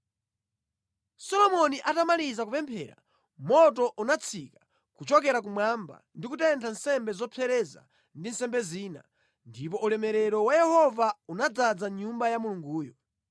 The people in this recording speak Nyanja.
Solomoni atamaliza kupemphera, moto unatsika kuchokera kumwamba ndi kutentha nsembe zopsereza ndi nsembe zina, ndipo ulemerero wa Yehova unadzaza Nyumba ya Mulunguyo.